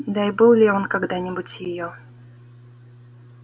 да и был ли он когда-нибудь её